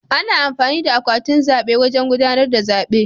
Ana amfani da akwatin zaɓe wajen gudanar da zaɓe.